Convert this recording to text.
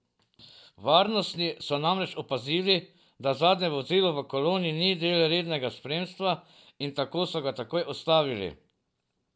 Varnostni so namreč opazili, da zadnje vozilo v koloni ni del rednega spremstva in tako so ga takoj ustavili.